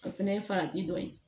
O fɛnɛ ye farati dɔ ye